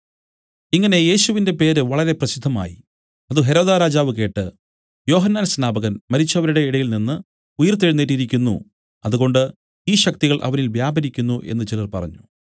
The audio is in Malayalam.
ഇങ്ങനെ യേശുവിന്റെ പേര് വളരെ പ്രസിദ്ധമായി അത് ഹെരോദാരാജാവ് കേട്ട് യോഹന്നാൻ സ്നാപകൻ മരിച്ചവരുടെ ഇടയിൽ നിന്നു ഉയിർത്തെഴുന്നേറ്റിരിക്കുന്നു അതുകൊണ്ട് ഈ ശക്തികൾ അവനിൽ വ്യാപരിക്കുന്നു എന്നു ചിലർ പറഞ്ഞു